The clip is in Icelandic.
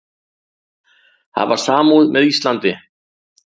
Hafa samúð með Íslandi